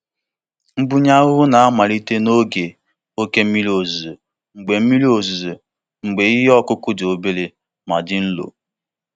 Mbunye ahụhụ na-amalitekarị n'oge oke mmiri ozuzo mgbe mmiri ozuzo mgbe ihe ọkụkụ dị obere ma dị nro.